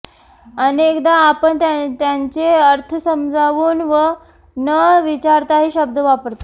अनेकदा आपण त्यांचे अर्थ समजावून न विचारताही शब्द वापरतो